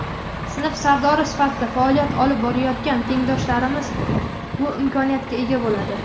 sinf Sardori sifatida faoliyat olib borayotgan tengdoshlarimiz bu imkoniyatga ega bo‘ladi.